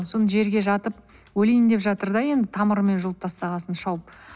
сосын жерге жатып өлейін деп жатыр да енді тамырымен жұлып тастаған соң шауып